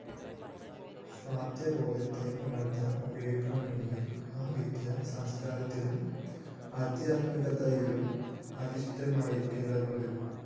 സ്വത്വബോധത്തെ ഉണര്‍ത്താന്‍ ഉപകരിക്കണമെങ്കില്‍ ആ വിദ്യ സംസ്‌കാരത്തിലും ആദ്ധ്യാത്മികതയിലും അധിഷ്ഠിതമായിരിക്കേണ്ടതുണ്ട്